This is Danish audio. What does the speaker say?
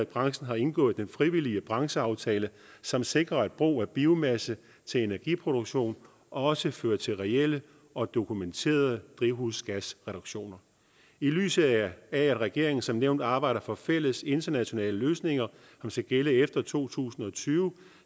branchen har indgået den frivillige brancheaftale som sikrer at brug af biomasse til energiproduktion også fører til reelle og dokumenterede drivhusgasreduktioner i lyset af at regeringen som nævnt arbejder for fælles internationale løsninger som skal gælde efter to tusind og tyve